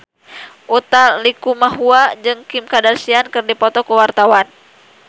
Utha Likumahua jeung Kim Kardashian keur dipoto ku wartawan